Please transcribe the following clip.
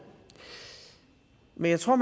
men jeg tror